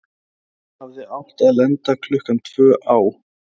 Hann hafði átt að lenda klukkan tvö á